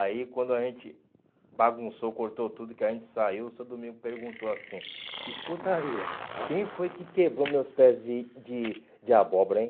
Aí quando a gente bagunçou, cortou tudo, que a gente saiu, o senhor Domingos perguntou assim, escuta aí, quem foi que quebrou meus pés de de de abóbora, hein?